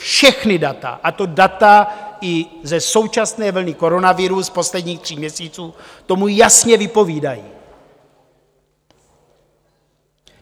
Všechna data, a to data i ze současné vlny koronaviru z posledních tří měsíců, to jasně vypovídají.